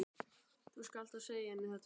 Þú skalt þá segja henni þetta sjálf!